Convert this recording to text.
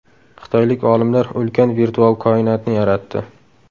Xitoylik olimlar ulkan virtual koinotni yaratdi.